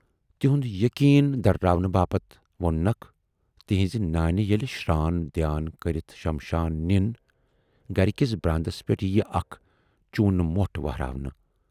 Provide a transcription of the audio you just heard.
" تِہُند یقیٖن دٔرٕراونہٕ باپتھ ووننکھ"تُہٕنزِ نانہِ ییلہِ شران دھیان کٔرِتھ شمشان نِن، گرِ کِس براندس پٮ۪ٹھ یِیہِ اَکھ چوٗنہٕ مۅٹھ ؤہراونہٕ